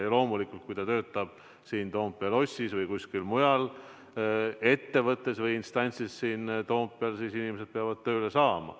Ja loomulikult, kui inimene töötab siin Toompea lossis või kuskil mujal ettevõttes või instantsis Toompeal, siis inimesed peavad tööle saama.